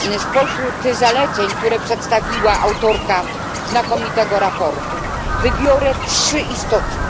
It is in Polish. Spośród tych zaleceń, które przedstawiła autorka znakomitego sprawozdania, wybiorę trzy istotne.